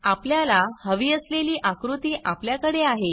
आपल्याला हवी असलेली आकृती अपल्यकडे आहे